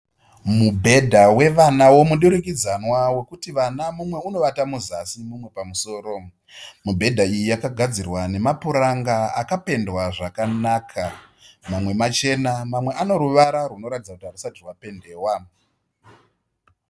Mubhedha wevana womudurikidzanwa wekuti vana mumwe unovata muzasi mumwe pamusoro. Mubhedha iyi yakagadzirwa nemapuranga akapendwa zvakanaka. Mamwe machena mamwe une ruvara runoratidza kuti harusati wapendewa.